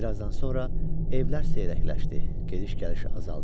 Birazdan sonra evlər seyrəkləşdi, gediş-gəliş azaldı.